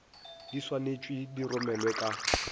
di swanetšwe di romelwe ka